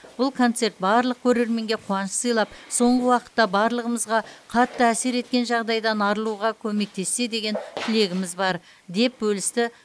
бұл концерт барлық көрерменге қуаныш сыйлап соңғы уақытта барлығымызға қатты әсер еткен жағдайдан арылуға көмектессе деген тілегіміз бар деп бөлісті